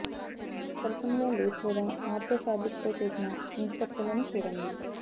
సరసముగా lace లేదా matte ఫాబ్రిక్తో చేసిన ఇన్సర్ట్ లను చూడండి